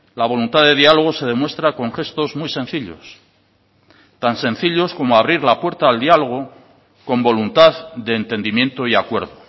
la voluntad de diálogo se demuestra con gestos muy sencillos tan sencillos como abrir la puerta al diálogo con voluntad de entendimiento y acuerdo